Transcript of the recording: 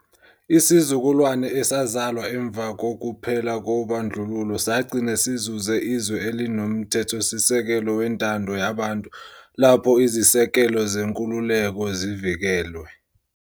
Isizukulwane esazalwa emva kokuphela kobandlululo sagcina sizuze izwe elinoMthethosisekelo wentando yabantu lapho izisekelo zenkululeko zivikelwe.